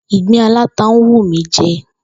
Ìgbín aláta ń wù mí je̩